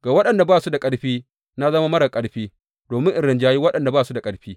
Ga waɗanda ba su da ƙarfi, na zama marar ƙarfi, domin in rinjayi waɗanda ba su da ƙarfi.